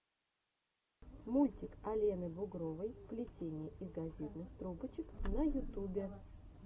мультик алены бугровой плетение из газетных трубочек на ютюбе